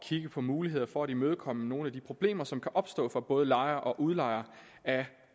kigge på mulighederne for at imødekomme nogle af de problemer som kan opstå for både lejere og udlejere af